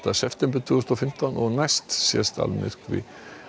september tvö þúsund og fimmtán næst sést almyrkvi